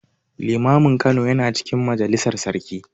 Limamin Kano yana cikin majalisar sarki.